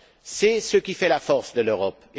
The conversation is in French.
C'est ce qui fait la force de l'Europe.